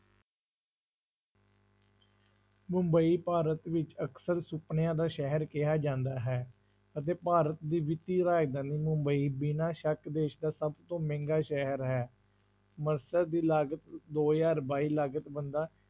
ਮੁੰਬਈ ਭਾਰਤ ਵਿੱਚ ਅਕਸਰ ਸੁਪਨਿਆਂ ਦਾ ਸ਼ਹਿਰ ਕਿਹਾ ਜਾਂਦਾ ਹੈ ਅਤੇ ਭਾਰਤ ਦੀ ਵਿੱਤੀ ਦੀ ਮੁੰਬਈ ਬਿਨਾਂ ਸ਼ੱਕ ਦੇਸ ਦਾ ਸਭ ਤੋਂ ਮਹਿੰਗਾ ਸ਼ਹਿਰ ਹੈ ਦੀ ਲਾਗਤ ਦੋ ਹਜ਼ਾਰ ਬਾਈ ਲਾਗਤ ਬੰਦਾ